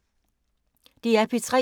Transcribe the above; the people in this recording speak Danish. DR P3